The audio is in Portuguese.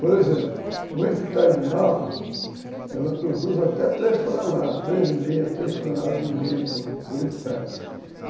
Por exemplo, um hectare de malva, ela produz até três toneladas, três e meio, a três toneladas e meio por hectare.